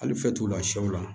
Hali fitiniw la sɛw la